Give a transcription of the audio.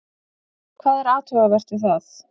Hvað er athugavert við það?